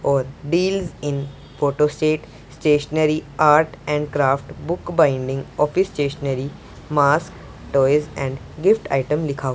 और deals in photo state stationery art and craft book binding office stationery mask toys and gift item लिखा हुआ--